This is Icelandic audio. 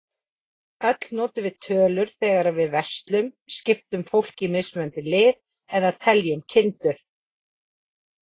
Öll notum við tölur þegar við verslum, skiptum fólki í mismunandi lið, eða teljum kindur.